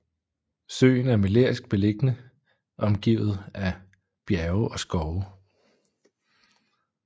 Søen er melerisk beliggende omgivet af bjerge og skove